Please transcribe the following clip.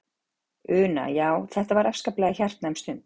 Una: Já, þetta var afskaplega hjartnæm stund?